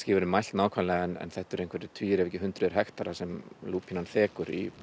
verið mælt nákvæmlega en þetta eru tugir ef ekki hundruð hektara sem lúpínan þekur í